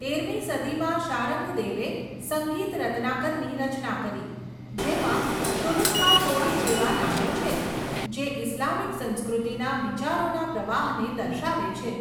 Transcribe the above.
તેરમી સદીમાં, શારંગદેવે સંગીત રત્નાકરની રચના કરી, જેમાં તુરુષ્કા તોડી જેવા નામો છે, જે ઇસ્લામિક સંસ્કૃતિના વિચારોના પ્રવાહને દર્શાવે છે.